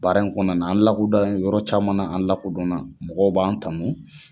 Baara in kɔnɔna n aan lakodɔn yɔrɔ caman na, an lakodɔnna. Mɔgɔw b'an tanun.